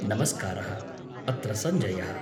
नमस्कारः, अत्र सञ्जयः।